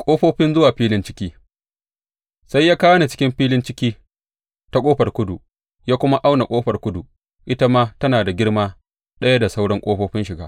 Ƙofofin zuwa filin ciki Sai ya kawo ni cikin filin ciki ta ƙofar kudu, ya kuma auna ƙofar kudu; ita ma tana da girma ɗaya da sauran ƙofofin shiga.